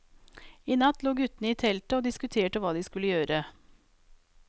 I natt lå guttene i teltet og diskuterte hva de skulle gjøre.